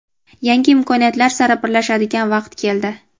Yangi imkoniyatlar sari birlashadigan vaqt keldi!.